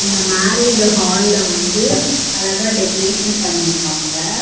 இந்த மேரேஜ் ஹால்ல வந்து அழகா டெக்கரேஷன் பண்ணிருக்காங்க.